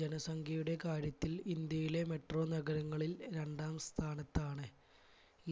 ജനസംഖ്യയുടെ കാര്യത്തിൽ ഇന്ത്യയിലെ metro നഗരങ്ങളിൽ രണ്ടാം സ്ഥാനത്താണ്,